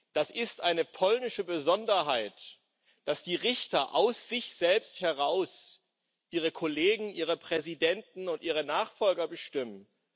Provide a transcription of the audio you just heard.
Das ist eine polnische Besonderheit, dass die Richter aus sich selbst heraus ihre Kollegen, ihre Präsidenten und ihre Nachfolger bestimmen.